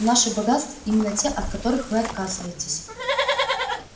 наши богатства именно те от которых вы отказываетесь